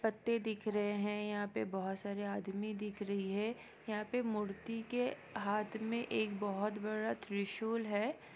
पत्ते दिख रहे है यहाँ पे बहुत सारे आदमी दिख रही है यहाँ पे मूर्ति के हाथ मे एक बहुत बड़ा त्रिशूल है।